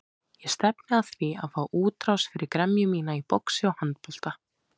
Ég stefni að því að fá útrás fyrir gremju mína í boxi og handbolta.